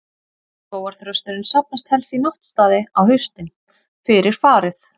Skógarþrösturinn safnast helst í náttstaði á haustin, fyrir farið.